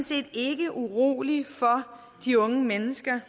set ikke urolig for de unge mennesker